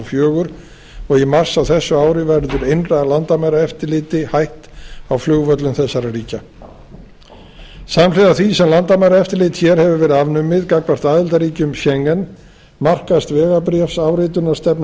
fjögur og í mars á þessu ári verður innra landamæraeftirliti hætt á flugvöllum þessara ríkja samhliða því sem landamæraeftirlit hér hefur verið afnumið gagnvart aðildarríkjum schengen markast vegabréfsáritunarstefna